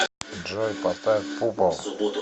джой поставь пупо